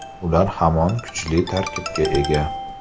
Ular hamon kuchli tarkibga ega”.